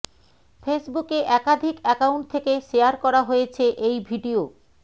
ফেসবুকে একাধিক অ্যাকাউন্ট থেকে শেয়ার করা হয়েছে এই ভিডিয়ো